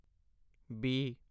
B